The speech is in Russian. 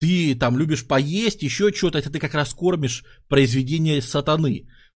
ты там любишь поесть ещё что-то ты как раз кормишь произведение сатаны